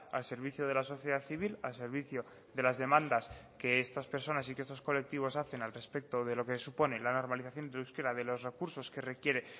al servicio de la sociedad civil al servicio de las demandas que estas personas y que estos colectivos hacen al respecto de lo que supone la normalización del euskera de los recursos que requiere